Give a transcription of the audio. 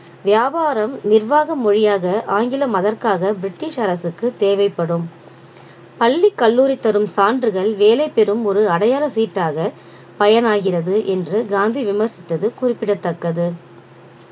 வியாபாரம் நிர்வாக மொழியாக ஆங்கிலம் அதற்காக british அரசுக்கு தேவைப்படும் பள்ளி கல்லூரி தரும் சான்றுகள் வேலை பெறும் ஒரு அடையாள சீட்டாக பயனாகிறது என்று காந்தி விமர்சித்தது குறிப்பிடத்தக்கது